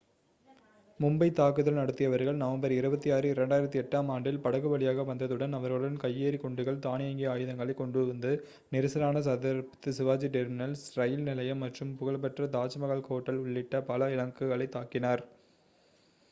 மும்பை தாக்குதல் நடத்தியவர்கள் நவம்பர் 26 2008-ஆம் ஆண்டில் படகு வழியாக வந்ததுடன் அவர்களுடன் கையெறி குண்டுகள் தானியங்கி ஆயுதங்களைக் கொண்டுவந்து நெரிசலான சத்ரபதி சிவாஜி டெர்மினஸ் ரயில் நிலையம் மற்றும் புகழ்பெற்ற தாஜ்மஹால் ஹோட்டல் உள்ளிட்ட பல இலக்குகளைத் தாக்கினர்